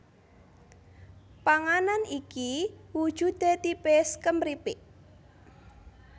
Panganan iki wujudé tipis kumripik